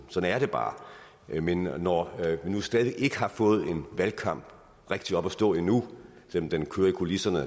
sådan er det bare men når vi nu stadig ikke har fået en valgkamp rigtig op at stå endnu selv om den kører i kulisserne